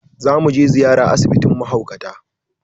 Let's pay a visit to the mental health home.